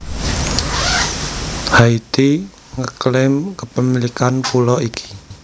Haiti nge klaim kepemilikan pulo iki